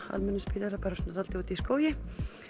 almennum spítala bara svona svolítið úti í skógi